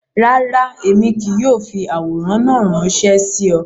Rárá, Emi kii yóò fi aworan naa ranṣẹ si ọ.